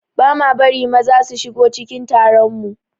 Ba ma bari maza su shigo cikin taron mu